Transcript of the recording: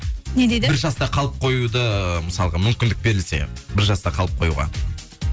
не деді бір жаста қалып қоюды мысалға мүмкіндік берілсе бір жаста қалып қоюға